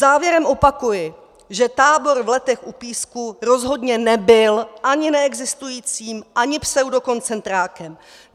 Závěrem opakuji, že tábor v Letech u Písku rozhodně nebyl ani neexistujícím, ani pseudokoncentrákem.